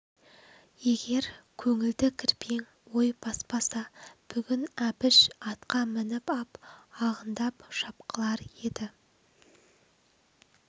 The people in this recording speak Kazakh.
егер көңілді кірбең ой баспаса бүгін әбіш атқа мініп ап ағындап шапқылар еді